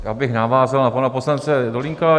Já bych navázal na pana poslance Dolínka.